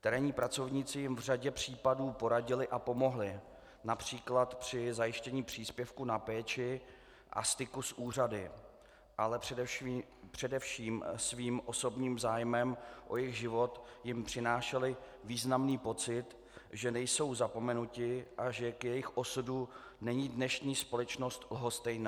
Terénní pracovníci jim v řadě případů poradili a pomohli například při zajištění příspěvku na péči a styku s úřady, ale především svým osobním zájmem o jejich život jim přinášeli významný pocit, že nejsou zapomenuti a že k jejich osudu není dnešní společnost lhostejná.